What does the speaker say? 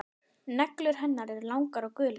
Neglur hennar eru langar og gular.